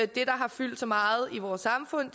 der har fyldt så meget i vores samfund